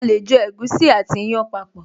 A lè jọ ẹ̀gúsí àti ìyàn papọ̀